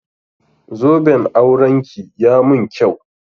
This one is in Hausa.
Zoben auranki ya mun kyau.